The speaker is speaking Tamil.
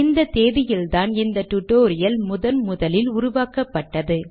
இந்த தேதியில்தான் இந்த டியூட்டோரியல் முதன் முதலில் உருவாக்கப்பட்டது